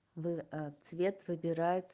в ответ выбирает